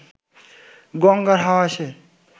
গঙ্গার হাওয়া এসে